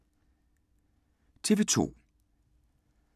TV 2